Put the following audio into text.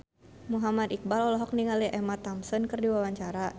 Muhammad Iqbal olohok ningali Emma Thompson keur diwawancara